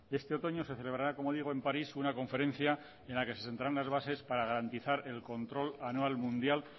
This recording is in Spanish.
este otoño se celebrará como digo en parís una conferencia en la que se sentarán las bases para garantizar el control anual mundial